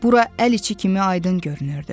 Bura əl içi kimi aydın görünürdü.